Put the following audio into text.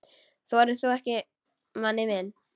Þorir þú ekki, manni minn?